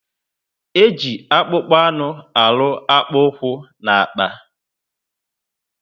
Eji akpụkpọ anụ arụ akpukpu úkwú na akpà